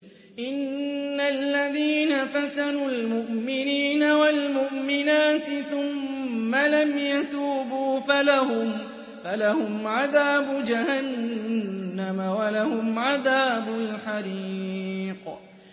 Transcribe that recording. إِنَّ الَّذِينَ فَتَنُوا الْمُؤْمِنِينَ وَالْمُؤْمِنَاتِ ثُمَّ لَمْ يَتُوبُوا فَلَهُمْ عَذَابُ جَهَنَّمَ وَلَهُمْ عَذَابُ الْحَرِيقِ